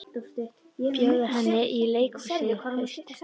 Bjóða henni í leikhús í haust.